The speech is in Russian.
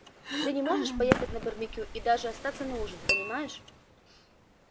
ты же можешь поехать на барбекю и даже остаться на ужин понимаешь